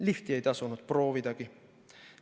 Lifti ei tasunud proovidagi.